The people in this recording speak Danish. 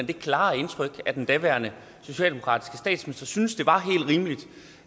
det klare indtryk at den daværende socialdemokratiske statsminister syntes det var helt rimeligt